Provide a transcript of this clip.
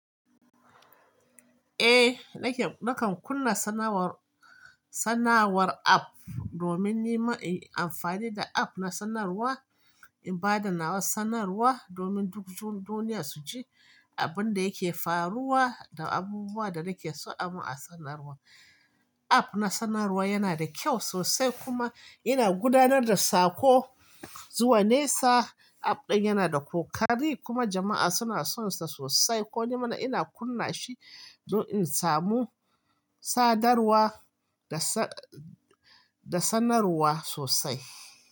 Eh, nake, nakan kunna sanarwar, sanarwar app domin ni ma in yi amfani da app na sanarwa, in bada nawa sanarwa domin duk dun-duniya su ji abin da yake faruwa da abubuwan da nake so a mun a sanarwa. App na sanarwa yana da kyau sosai kuma yana gudanar da sako zuwa nesa. App ɗin yana da ƙoƙari kuma jama'a suna son sa sosai. Ko nima ina kunna shi dan in samu sadarwa da sa, da sanarwa sosai.